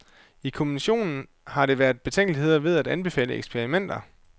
I kommissionen har der været betænkeligheder ved at anbefale eksperimenter.